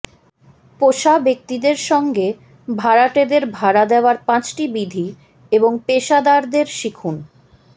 পোষা ব্যক্তিদের সঙ্গে ভাড়াটেদের ভাড়া দেওয়ার পাঁচটি বিধি এবং পেশাদারদের শিখুন